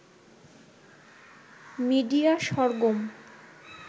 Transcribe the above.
media Sargam